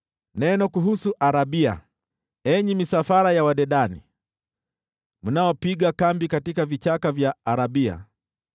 Neno kuhusu Arabia: Enyi misafara ya Wadedani, mnaopiga kambi katika vichaka vya Arabia,